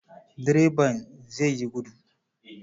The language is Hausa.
Direban zai yi gudu.